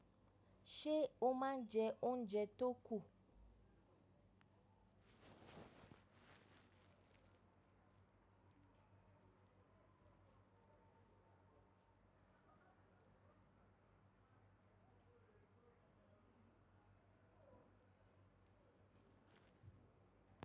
Ṣé o máa ń jẹ oúnjẹ tó kù?